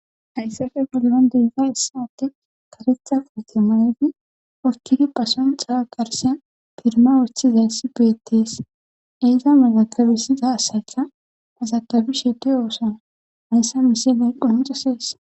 hayssafe polmon deyita issaatte karetha poote mayefi wokkigi pason xala garsiya firma woththizayssi bettes eeza malakabisida asaytha hazakabi sheeti oosa hayssa mise neyqqunuxasees